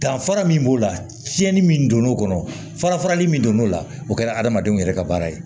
Danfara min b'o la tiɲɛni min donn'o kɔnɔ fara farali min don n'o la o kɛra adamadenw yɛrɛ ka baara ye